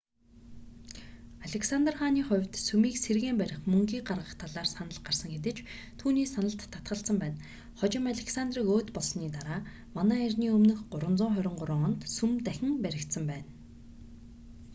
александр хааны хувьд сүмийг сэргээн барих мөнгийг гаргах талаар санал гарсан хэдий ч түүний саналд татгалзсан байна хожим александрийг өөд болсоны дараа мэө 323 онд сүм дахин баригдсан байна